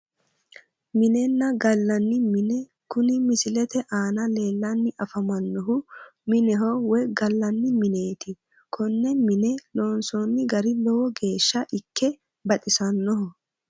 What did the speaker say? Minenna gallanni mine kuni misilete aana leellanni afamannohu mineho woyi gallanni mineeti konne mine loonsoonni gari lowo geeshsha ikke baxisannoho